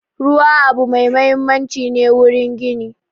Ruwa abu ne mai mahimmanci wurin gini